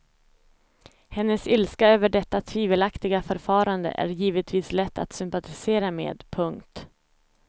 Hennes ilska över detta tvivelaktiga förfarande är givetvis lätt att sympatisera med. punkt